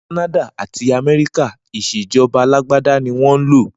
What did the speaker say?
Ni Kànàdà àtí Àmẹríkà, Ìṣejọba àlàgbàdà ni wọn lo